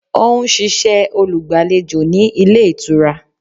Ó n ṣiṣẹ́ olùgbàlejò ní Ilé Ìtura